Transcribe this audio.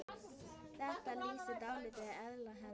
Þetta lýsir dálítið eðli hennar.